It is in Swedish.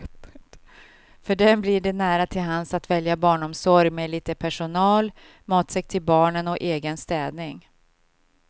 För dem blir det nära till hands att välja barnomsorg med lite personal, matsäck till barnen och egen städning.